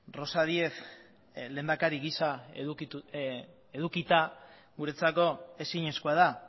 rosa díez lehendakari gisa edukita guretzako ezinezkoa da